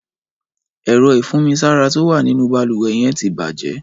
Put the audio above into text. Ẹ̀rọ̀ ifùnmisàrá tó wà ninú bàlúwẹ̀ yèn ti bàjè